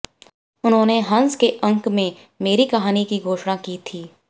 उन्होंने हंस के अंक में मेरी कहानी की घोषणा की थी